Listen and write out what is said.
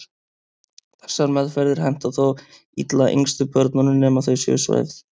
Þessar meðferðir henta þó illa yngstu börnunum nema þau séu svæfð.